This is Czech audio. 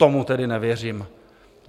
Tomu tedy nevěřím.